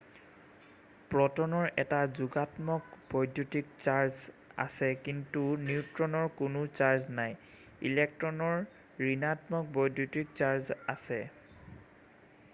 প্ৰট'নৰ এটা যোগাত্মক বৈদ্যুতিক চাৰ্জ আছে কিন্তু নিউট্ৰনৰ কোনো চাৰ্জ নাই ইলেক্ট্ৰনৰ ঋণাত্মক বৈদ্যুতিক চাৰ্জ আছে